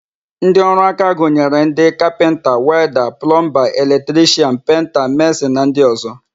Ndịọrụaka gụnyere ndị: kapịnta, welda, plọmba, eletrishian, penta, mesịn na ndị ọ̀zọ́.